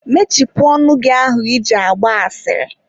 mechipụ ọnụ gị ahụ I ji agba asịrị.